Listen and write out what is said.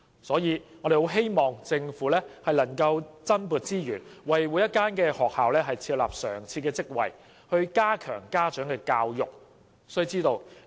所以，我們十分希望政府能夠增撥資源，為所有學校設立常設職位，加強家長教育。